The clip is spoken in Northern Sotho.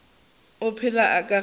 o phela ka gare ga